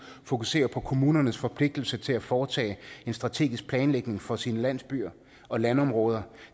fokuserer på kommunernes forpligtelse til at foretage en strategisk planlægning for sine landsbyer og landområder